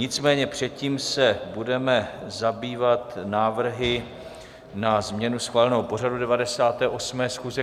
Nicméně předtím se budeme zabývat návrhy na změnu schváleného pořadu 98. schůze.